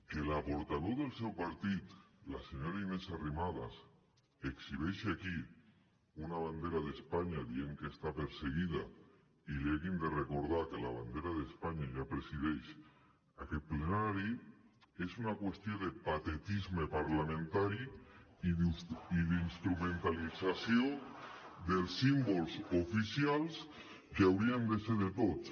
que la portaveu del seu partit la senyora inés arrimadas exhibeixi aquí una bandera d’espanya dient que està perseguida i li hàgim de recordar que la bandera d’espanya ja presideix aquest plenari és una qüestió de patetisme parlamentari i d’instrumentalització dels símbols oficials que haurien de ser de tots